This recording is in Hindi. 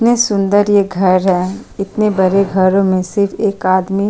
इतना सुन्दर ये घर है इतने बरे घर में से एक आदमी --